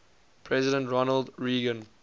president ronald reagan